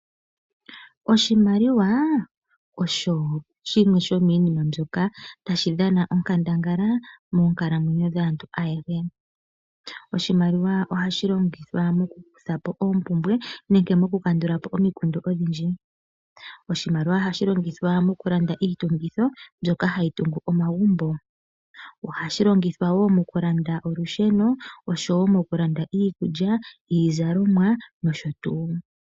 Oshimaliwa osho shimwe shomiinima mbyoka tayi dhana onkandangala monkalamwenyo dhaantu ayehe. Ohashi longithwa moku kuthapo oompumbwe noku kandulapo omikundu odhindji. Oshimaliwa ohashi longithwa mokulanda iitungitho mbyoka hayi tungu omagumbo, okulanda olusheno, iizalomwa nosho tuu.